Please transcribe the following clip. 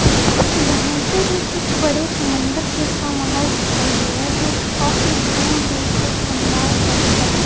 यहां पर ये कुछ बड़े समंदर जैसा माहौल दिखाई दे रहा है जो काफी दूर दूर तक लंबा है बहोत ज्यादा।